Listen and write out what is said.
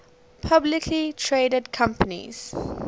publicly traded companies